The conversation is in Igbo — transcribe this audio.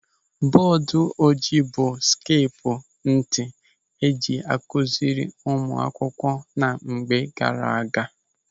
Bọọdụ ojii bụ ịhe sekpu ntị eji akụziri ụmụ akwụkwọ na mgbe gaara aga.